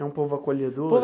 É um povo acolhedor.